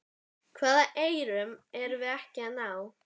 Hvaða eyrum erum við ekki að ná?